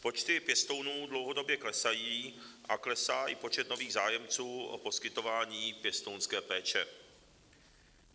Počty pěstounů dlouhodobě klesají a klesá i počet nových zájemců o poskytování pěstounské péče.